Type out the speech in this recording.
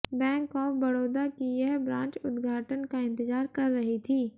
bank of Baroda की यह branch उद्घाटन का इंतजार कर रही थी